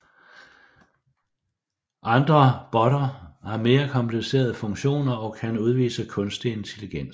Andre botter har mere komplicerede funktioner og kan udvise kunstig intelligens